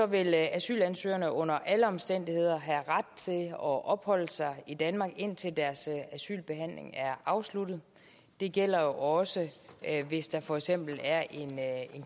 vil asylansøgerne under alle omstændigheder have ret til at opholde sig i danmark indtil deres asylbehandling er afsluttet det gælder også hvis der for eksempel er en